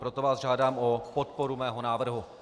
Proto vás žádám o podporu mého návrhu.